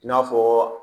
I n'a fɔ